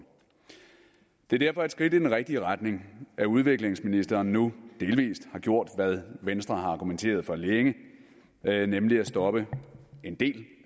det er derfor et skridt i den rigtige retning at udviklingsministeren nu delvis har gjort hvad venstre har argumenteret for længe nemlig at stoppe en del